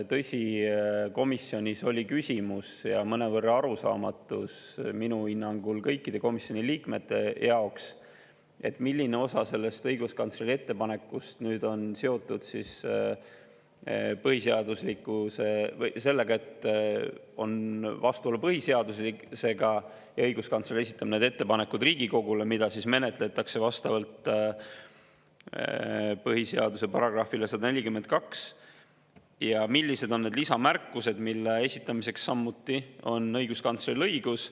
Tõsi, komisjonis oli küsimus ja mõnevõrra arusaamatu minu hinnangul kõikide komisjoni liikmete jaoks, milline osa sellest õiguskantsleri ettepanekust on seotud sellega, et on vastuolu põhiseadusega ja õiguskantsler esitab ettepaneku Riigikogule, mida menetletakse vastavalt põhiseaduse §-le 142, ja millised on need lisamärkused, mille esitamiseks samuti õiguskantsleril õigus on.